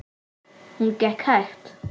Hún gekk hægt.